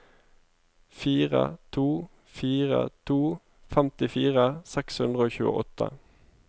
fire to fire to femtifire seks hundre og tjueåtte